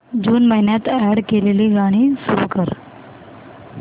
जून महिन्यात अॅड केलेली गाणी सुरू कर